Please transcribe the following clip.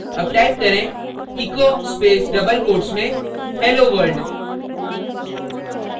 double type करें echo echo space double quotes में hello world